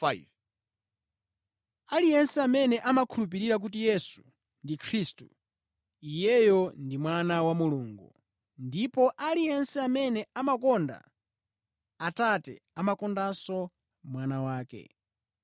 Aliyense amene amakhulupirira kuti Yesu ndi Khristu, iyeyo ndi mwana wa Mulungu, ndipo aliyense amene amakonda Atate amakondanso Mwana wake.